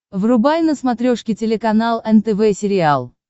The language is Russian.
врубай на смотрешке телеканал нтв сериал